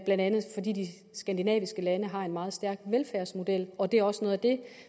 blandt andet fordi de skandinaviske lande har en meget stærk velfærdsmodel og det er også noget af det